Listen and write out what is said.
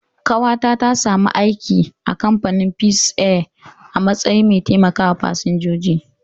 Ƙawata ta sami aiki a kamfanin Peace Air a matsayin mai taimakawa fasinjoji